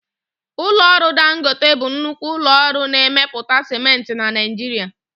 Ụlọ ọrụ Dangote bụ nnukwu ụlọ ọrụ na-emepụta siment na Naịjirịa